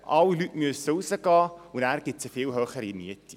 Alle Leute müssen raus, und anschliessend gibt es viel höhere Mieten.